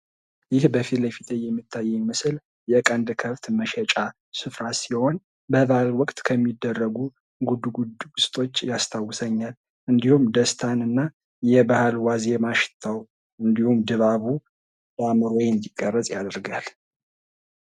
ይህ በፊት ለፊቴ የሚታየኝ ምስል የቀንድ ከብት መሸጫ ስፍራ ሲሆን በበዓል ወቅት ከሚደረጉ ጉድጉዶችን ያስታውሰኛል እንዲሁም ደስታና የበዓል ወቅት ዋዜማ ሽታው እንዲሁም ድባቡ በአእምሮዬ እንዲቀረፅ ያደርጋል።